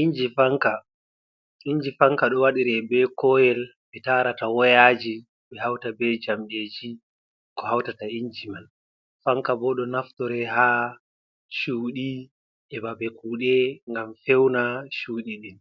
Inji fanka, inji fanka ɗo waɗire be koyel ɓe tarata woyaji ɓe hauta be jamɗeji ko hautata inji man, fanka bo ɗo naftore ha cuɗi be babe kuɗe ngam feuna chuɗi ɗin